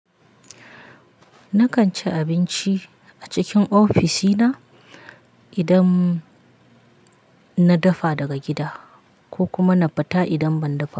Nakan ci abinci a cikin ofisina idan na dafa daga gida ko kuma na fita idan ban dafa ba.